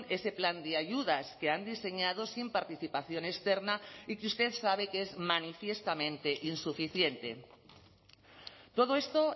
ese plan de ayudas que han diseñado sin participación externa y que usted sabe que es manifiestamente insuficiente todo esto